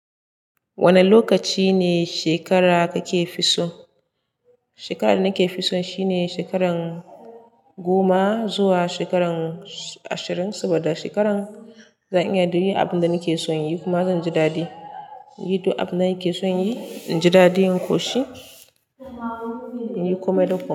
Wane lokaci ne shekara kake fi so? Shekarar da nake fi so shine shekaran goma zuwa shekaran ashirin saba da shekaran, zan iya yin abin da nake son yi kuma zan ji dadi. Yi ta abin da nake son yi, in ji dadi, in ƙoshi, in yi komai da ƙoshi.